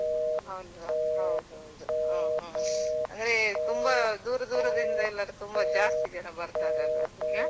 ಅಲ್ವಾ ಹೌದೌದು ಹ್ಮ್ಹ್ಮ್ ಅಂದ್ರೆ ತುಂಬಾ ದೂರ ದೂರದಿಂದ ಎಲ್ಲರೂ ತುಂಬಾ ಜಾಸ್ತಿ ಜನ ಬರ್ತಾರೆ ಅಲ್ವಾ